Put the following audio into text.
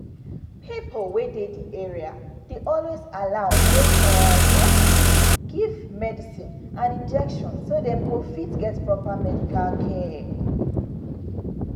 pipo wey dey the area dey always allow make um nurses give medicine and injections so dem go fit get proper medical care.